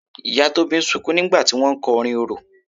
Ìyá Tóbi ń sunkún nígbà tí wọ́n ń kọ orin orò.